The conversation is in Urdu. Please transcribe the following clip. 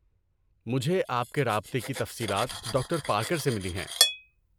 مجھے آپ کے رابطے کی تفصیلات ڈاکٹر پارکر سے ملیں ہیں ۔